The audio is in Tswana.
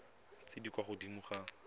tse di kwa godimo ga